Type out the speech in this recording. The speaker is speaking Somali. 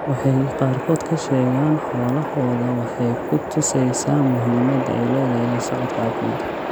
Waxa ay qaarkood ka sheegaan xoolahooda waxa ay ku tusaysaa muhiimadda ay leedahay la socodka caafimaadka.